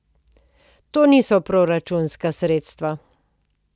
To niso proračunska sredstva.